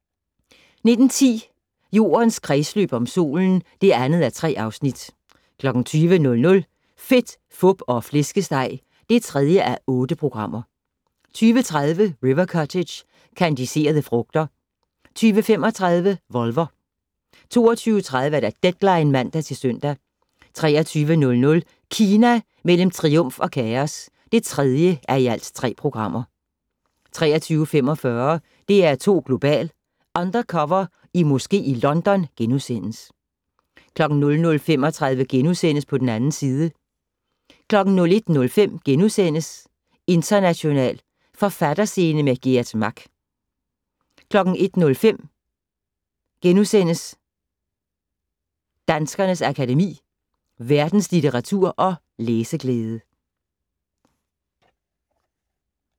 19:10: Jordens kredsløb om solen (2:3) 20:00: Fedt, Fup og Flæskesteg (3:8) 20:30: River Cottage - kandiserede frugter 20:35: Volver 22:30: Deadline (man-søn) 23:00: Kina mellem triumf og kaos (3:3) 23:45: DR2 Global: Undercover i moske i London * 00:35: På den 2. side * 01:05: International Forfatterscene - med Geert Mak * 01:05: Danskernes Akademi: Verdenslitteratur og læseglæde *